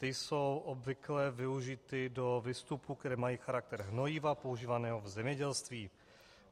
Ty jsou obvykle využity do výstupů, které mají charakter hnojiva používaného v zemědělství.